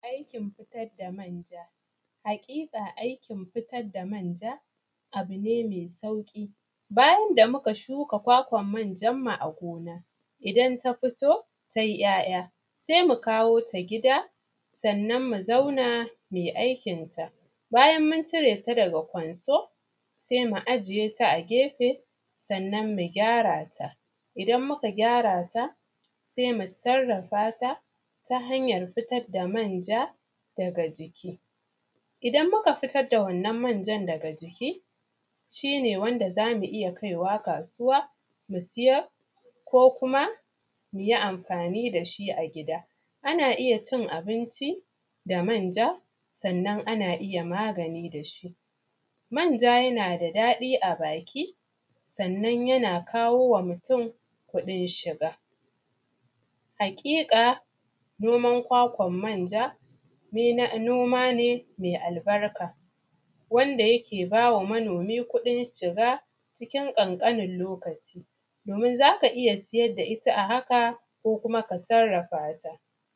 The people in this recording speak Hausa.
Aikin fitar da manja, haƙiƙa aikin fitar da manja abu ne me sauƙi, bayan da muka shuka kwakwan manjanmu a gona idan ta fito ta yi ‘ya’ya se mu kawo ta gida sannan mu zauna mu yi aikin ta, bayan mun cire ta daga kwanso se mu ajiye ta a gefe. Sannan mu gyara ta, idan muka gyarta se mu sarrafata ta hayan fitar da manja daga jiki, idan muka fitar da wannan manjan daga jiki shi ne wanda za mu iya kai wa kasuwa mu siyar ko kuma mu yi amfani da shi a gida, ana iya cin abinci da manja, sannan ana iya magani da shi manja, yana da daɗi a baki, sannan yana kawo wa mutum kuɗin shiga. Haƙiƙa noman kwakwan manja noma ne me albarka wanda yake ba wa manomi kuɗin shiga cikin ƙanƙanin lokaci, domin za ka iya siyar da ita a haka ko kuma ka sarrafata.